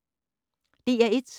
DR1